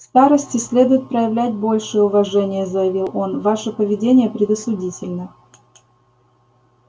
к старосте следует проявлять большее уважение заявил он ваше поведение предосудительно